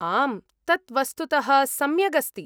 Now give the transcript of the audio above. आम्, तत् वस्तुतः सम्यक् अस्ति।